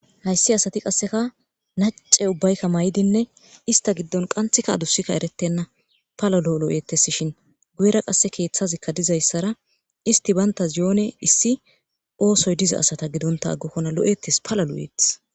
hayssi asati qasseka nacce ubbaykka may7idinne ista giddon qanthika adusikka erettenna pala lo7 lo7ettes shin guyera qasse keeththazikka dizayssara isti baynta zioone issi oosoy diza asata gidonta aggokkona lo7ettes pala lo7eeth